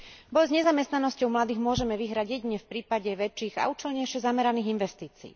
Boj s nezamestnanosťou mladých môžeme vyhrať jedine v prípade väčších a účelnejšie zameraných investícií.